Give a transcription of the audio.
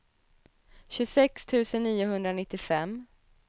tjugosex tusen niohundranittiofem